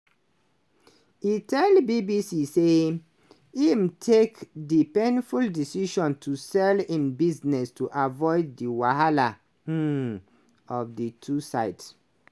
e tell bbc say im take di painful decision to sell im business to avoid di wahala um of di two sides.